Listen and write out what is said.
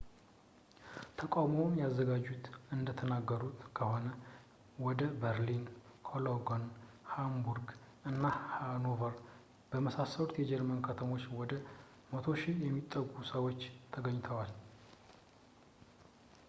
ተቃውሞውን ያዘጋጁት እንደተናገሩት ከሆነ እንደ berlin cologne hamburg እና hanover በመሳሰሉት የጀርመን ከተሞች ወደ 100,000 የሚጠጉ ሰዎች ተገኝተዋል